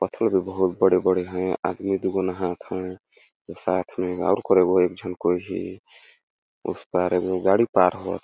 पत्थल भी बहुत बड़े -बड़े है आदमी दूगो नहाथ है साथ में और कोई एगो एक झन कोई हे उस पार एगो गाड़ी पार होअथे --